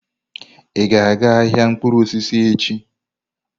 Ị ga-aga ahịa mkpụrụ osisi echi?